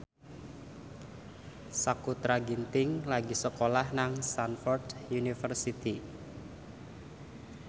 Sakutra Ginting lagi sekolah nang Stamford University